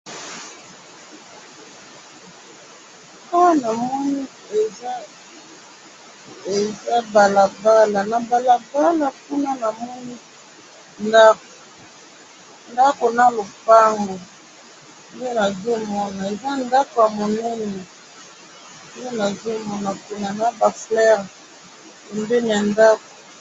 awa na moni eza balabala na balabala kuna namoni ndaku na lopango nde nazo mona eza ndaku ya monene eza naba fleur